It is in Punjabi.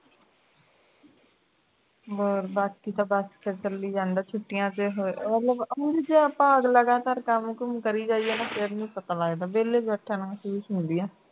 ਹੋਰ ਬਾਕੀ ਤਾਂ ਸਭ ਚੱਲੀ ਜਾਂਦਾ ਛੁੱਟੀਆਂ ਚ ਮਤਲਬ ਹੁਣ ਜੇ ਆਪਾਂ ਲਗਾਤਾਰ ਕੰਮ ਕੁਮ ਕਰੀ ਜਾਈਏ ਨਾ ਫੇਰ ਨਹੀਂ ਪਤਾ ਲਗਦਾ ਵਿਹਲੇ ਬੈਠਣ ਬੈਠਣ ਨਾਲੋਂ ਠੀਕ ਹੀ ਹੁੰਦੀ ਹੈ